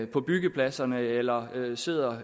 på byggepladserne eller sidder